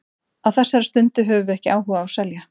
Á þessari stundu höfum við ekki áhuga á að selja.